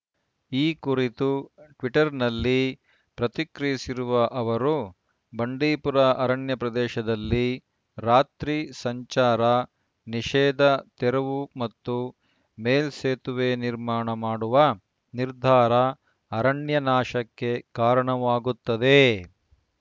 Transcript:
ಈ ಕುರಿತು ಟ್ವಿಟ್ಟರ್‌ನಲ್ಲಿ ಪ್ರತಿಕ್ರಿಯಿಸಿರುವ ಅವರು ಬಂಡೀಪುರ ಅರಣ್ಯ ಪ್ರದೇಶದಲ್ಲಿ ರಾತ್ರಿ ಸಂಚಾರ ನಿಷೇಧ ತೆರವು ಮತ್ತು ಮೇಲ್ಸೇತುವೆ ನಿರ್ಮಾಣ ಮಾಡುವ ನಿರ್ಧಾರ ಅರಣ್ಯ ನಾಶಕ್ಕೆ ಕಾರಣವಾಗುತ್ತದೆ